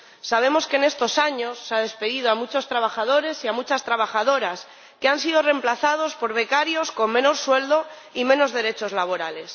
Sabemos que, en estos años, se ha despedido a muchos trabajadores y a muchas trabajadoras que han sido reemplazados por becarios con menos sueldo y menos derechos laborales.